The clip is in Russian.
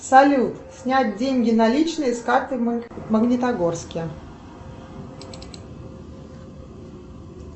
салют снять деньги наличные с карты в магнитогорске